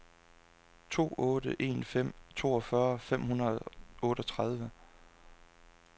to otte en fem toogfyrre fem hundrede og otteogtredive